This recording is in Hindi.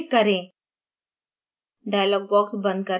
insert button पर click करें